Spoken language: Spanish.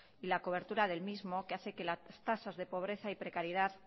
y la cobertura del mismo que hace que las tasas de pobreza y precariedad